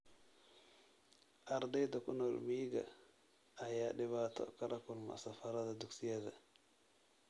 Ardeyda ku nool miyiga ayaa dhibaato kala kulma safarrada dugsiyada.